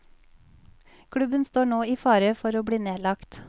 Klubben står nå i fare for å bli nedlagt.